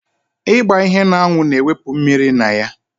Ịgba ihe n'anwụ na-ewụpụ mmiri na ya